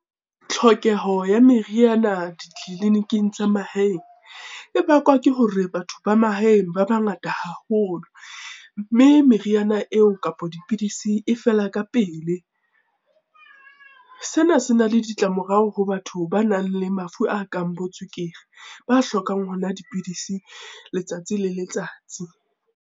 Tlhokeho ya meriana ditleliniking tsa mahaeng, e bakwa ke hore batho ba mahaeng ba bangata haholo, mme meriana eo kapa dipidisi e fela ka pele. Sena se na le ditla-morao ho batho ba nang le mafu a kang bo tswekere, ba hlokang ho nwa dipidisi letsatsi le letsatsi.